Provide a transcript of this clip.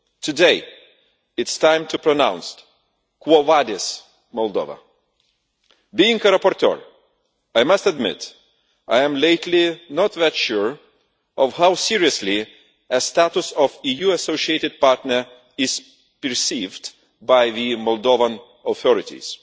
Today, it is time to pronounce quo vadis Moldova? Being a rapporteur, I must admit I am lately not that sure of how seriously a status of EU associated partner is perceived by the Moldovan authorities.